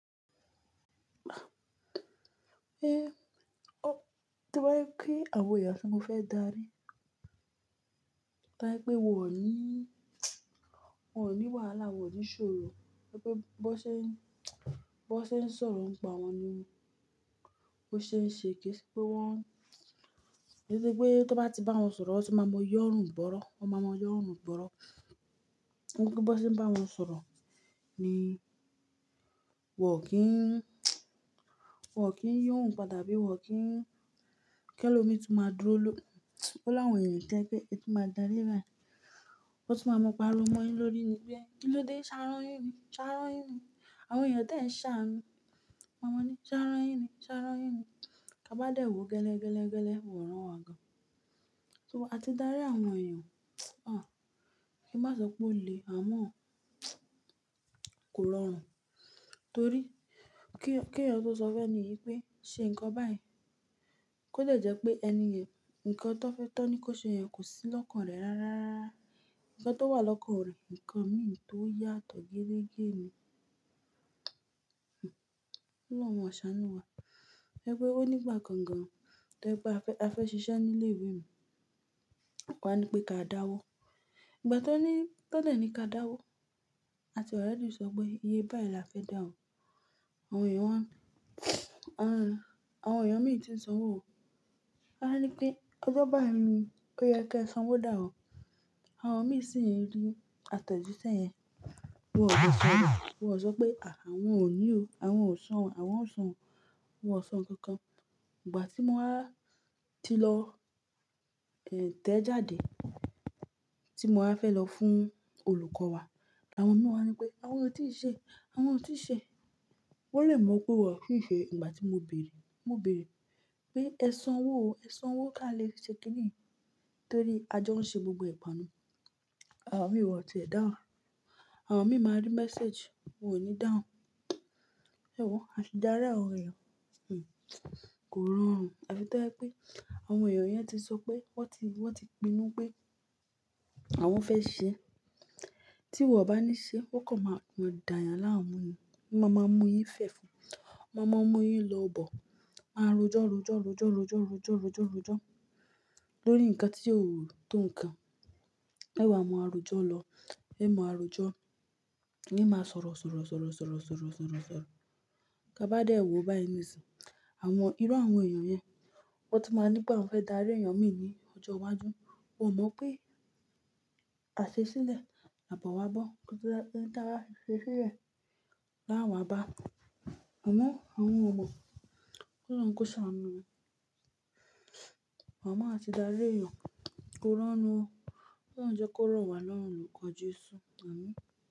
Ehn, tí o bá je pé àwọn èèyàn tí mo fẹ́ darí, tí o bá je pé wọ́n ò ní, wọ́n ò ní wàhálà, wọ́n ò ní ṣòro, ti o ja pe- bó ṣe ń- bó ṣe ń sọ̀rọ̀ nípa wọọn ni wọ́n ṣe ń ṣe. Kì í ṣe pé wọ́n-- kì í ṣe pé tó bá ti bá wọn sọ̀rọ̀, wọ́n ti máa yọ́rùn bọ́rọ́, wọ́n máa ma yọ́rùn bọ́rọ́. Bó ṣe ń bá wọn sọ̀rọ̀ ni wọ́n ò kí ń- wọ́n ò kí ń yo ohun pada tàbí wọ́n ò kí ń- kí ẹlòmíi tó máa dúró lo Ó láwọn èèyàn to je pé ẹ tó máa darí baa, o tó máa mọ páriwo mọ́yín lórí ni wípé kí ló dé ṣa ran yin ni, ṣa ran yín ni. Àwọn èèyàn dẹ́ ẹ̀ ṣàánú. Won maa ní ṣa ran yin ni, ṣa ran yín ni. Ti a ba dé wo o gẹ́lẹ́, gẹ́lẹ́, gẹ́lẹ́, wọ́n ò rán wọ́n gan. So a ti darí àwọn èèyàn, ah! Kí má sọ pé ó le àmọ́, kò rọrùn. Torí kí, kí ẹyan tọ́ sọ fún eni yìí pé ṣe nǹkan báyìí, kó dẹ́ jẹ́ pé ẹni yẹn ǹkan tó fẹ́- tọ́ ní kó ṣe yẹn, kò sí lọ́kàn rẹ̀ rárá. Ǹkan tó wà lọ́kàn rẹ̀, ǹkan mìí tó yàtọ̀ gérégé ni. Ọlọ́run máa ṣàánú wa. Ẹ pé ó ní igbà kan gan tí o je pe a fẹ́, a fẹ́ ṣiṣẹ́ nílé ìwé un. Wọ́n wa ni pé ká dáwọ́. Ìgbà tí wọ́n ní, tí wọ́n dẹ̀ ní ká dáwọ́, àti oredi sọ pé iye báyìí la fẹ́ dá o. Àwọn èèyàn wá, àwọn, àwọn èèyàn mìí tí ń san ọwọ́. Won a ní pé ọjọ́ báyìí ni pé o yẹ kí ẹ sanwó da o. Àwọn mìí sì ń rí àtẹ̀jíṣẹ́ yẹn. Wọn ò dè sọ̀rọ̀. Wọn ò sọ pé à, àwọn ò ní o. Àwọn ò san, àwọn ò san. Wọn ò san nǹkan kan. Ìgbà tí mo wá ti lọ, ehn, tẹ́ jáde tí mo wá fẹ́ lọ fún olùkọ́ wa, àwọn mi wa ni pé àwọn o tì í ṣe, àwọn o tì í ṣe. Wọ́n lè mọ̀ pé wọ́n tì í ṣe ìgbà tí mo bèèrè. Mo bèèrè pé ẹ sanwó o, ẹ sanwọ́ ká lè ṣe kìnìyí torí ajọ ń ṣe gbogboe pọ ni àwọn mìí wọn ti ẹ̀ dáhùn. Àwọn mì máa rí message, wọ́n ò ní dáhùn. Ẹ́wo a ti darí àwọn èèyàn, hm, kò rọrùn. A fi to jẹ́ pé àwọn èèyàn yẹn ti sọ pé wọ́n ti, wọ́n ti pinnu pé àwọn fẹ́ ṣe ẹ. Tí wọ̀ bá ní ṣe, wọ́n kàn máa kan d'ààyànláàmú ni. Ma ma múyín fẹ̀fun. Ma ma múyín lọ bọ̀. Ma rọjọ́, rọjọ́, rọjọ́, rọjọ́, rọjọ́, rọjọ́, rọjọ́ lórí ǹkan tí óò tó ǹkan. Ẹ̀wa mọ rọjọ lọ. Ẹ mọ àrọjọ. Ẹ máa sọ̀rọ̀, sọ̀rọ̀, sọ̀rọ̀, sọ̀rọ̀, sọ̀rọ̀, sọ̀rọ̀, sọ̀rọ̀. Tá bá dé ìwọ báyìí ní ìsìn, àwọn, irú àwọn èèyàn yẹn, wọ́n tó máa ní pé àwọn fẹ́ darí èèyàn mìí ní ọjọ́ iwájú. O mọ̀ pé àṣẹ sílẹ̀, àbọ̀ wá bọ́.nkan n taba ṣe sílẹ̀, láwà bá. Àmọ́ àwọn ò mọ̀. Òlòrùn kò ṣàánú ni a mọọ ati darí èèyàn kò rọrùn o. Ọlọrun jẹ́ kó rọ̀ wá lọ́rùn olùkọ́ Jésù. Àmín.